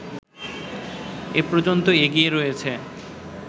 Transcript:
এ পর্যন্ত এগিয়ে রয়েছে